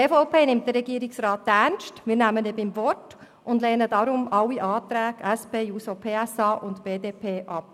Die EVP nimmt den Regierungsrat ernst, wir nehmen ihn beim Wort und lehnen deswegen alle Anträge, SP-JUSO-PSA und BDP, ab.